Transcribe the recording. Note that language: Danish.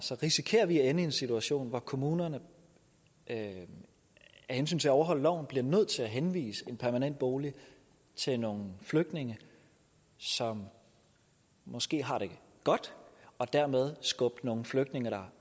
risikerer vi at ende i en situation hvor kommunerne af hensyn til at overholde loven bliver nødt til at henvise en permanent bolig til nogle flygtninge som måske har det godt og dermed skubbe nogle flygtninge der